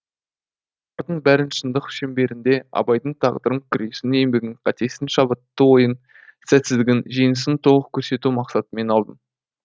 бұлардың бәрін шындық шеңберінде абайдың тағдырын күресін еңбегін қатесін шабытты ойын сәтсіздігін жеңісін толық көрсету мақсатымен алдым